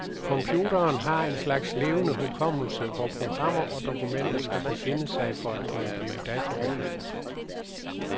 Computerens har en slags levende hukommelse, hvor programmer og dokumenter skal befinde sig for at kunne blive databehandlet.